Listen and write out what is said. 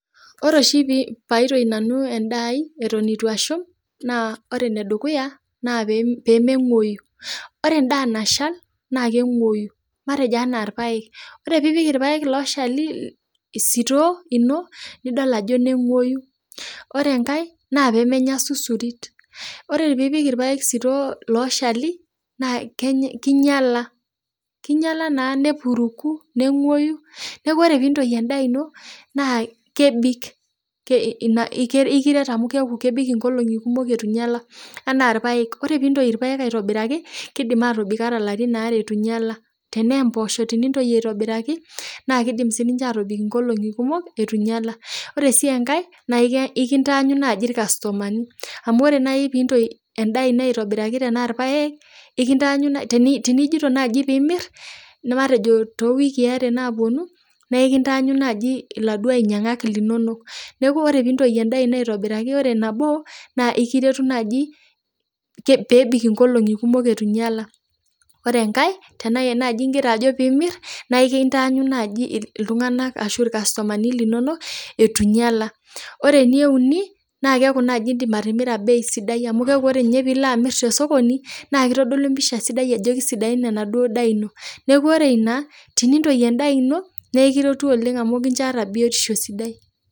Ore pee aaitoi Nanu endaai eton eitu ashum naa ore ene dukuya naa pee meng'uoyu, ore endaa nashal naa keng'uoyu matejo enaa irpaek, ore pii pik irpaek looshali sitoo ino nidol ajo neng'uoyu. ore enkae naa pee menya isusurit, ore piipik irpaek ooshali sitoo looshali naa kinyala kinyala naa nepuruku, neng'uoyu neeku ore piintoi endaa ino naa kebik keeku kebik anaa irpaek ore piintoi aitobiraki naa kebik mpaka ilarin aare itu inyala tenaa mboosho piintoi aitobiraki naa kibik nkoriong'i kumok itu inyala, ore sii enkae ekintaanyu naaji irkastumani, amu ore naaji tenintoi irpaek linono aitobiraki tenaaojito naaji piimir matejo too wikii are naapuonu naa ekintaanyu irkastumani linono. Neeku ore piintoi endaa ino aitobiraki naa ore nabo nikiretu naaji peebik eitu inyala ore enkae tenaa imirr naaji neekintaanyu naaji iltung'ana ashuu irkastumani linono itu inyala, ore eneuni naa keku naaji tenilo amirr te sokoni naa ilo amirr bei sidai amuu tenedol iltung'ana naa keisidai endaa ino. Neeku ore ina tenintoi endaa ino naa ekiretu, amuu keeku iyata biotisho sidai.